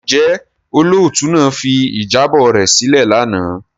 Njẹ olootu naa fi ijabọ rẹ silẹ lana?